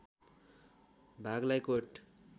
भागलाई कोट